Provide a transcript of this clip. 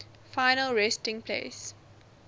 final resting place